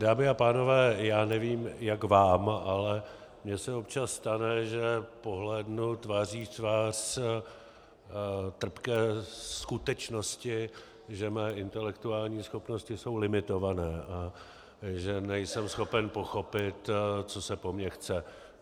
Dámy a pánové, já nevím, jak vám, ale mně se občas stane, že pohlédnu tváří v tvář trpké skutečnosti, že mé intelektuální schopnosti jsou limitované a že nejsem schopen pochopit, co se po mně chce.